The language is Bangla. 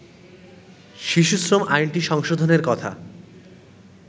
শিশু শ্রম আইনটি সংশোধনের কথা